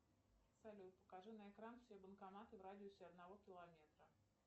салют покажи на экран все банкоматы в радиусе одного километра